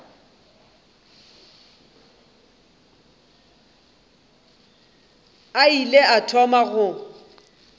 a ile a thoma go